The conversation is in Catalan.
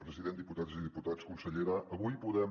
president diputats i diputades consellera avui podem